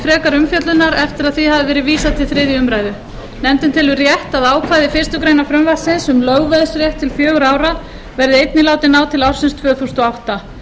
frekari umfjöllunar eftir að því hafði verið vísað til þriðju umræðu nefndin telur rétt að ákvæði fyrstu grein frumvarpsins um lögveðsrétt til fjögurra ára verði einnig látið ná til ársins tvö þúsund og átta